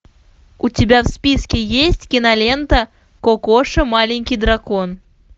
у тебя в списке есть кинолента кокоша маленький дракон